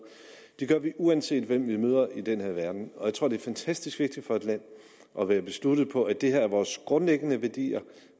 det gør vi uanset hvem vi møder i den her verden og jeg tror det er fantastisk vigtigt for et land at være besluttet på at det her er vores grundlæggende værdier